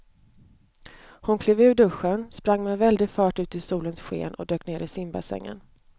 Hon klev ur duschen, sprang med väldig fart ut i solens sken och dök ner i simbassängen.